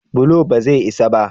bulo ba zai isa ba?